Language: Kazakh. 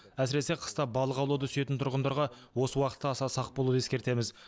әсіресе қыста балық аулауды сүйетін тұрғындарға осы уақытта аса сақ болуды ескертеміз